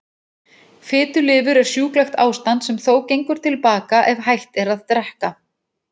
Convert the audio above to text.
Fitulifur er sjúklegt ástand sem þó gengur til baka ef hætt er að drekka.